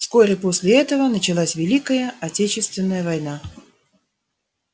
вскоре после этого началась великая отечественная война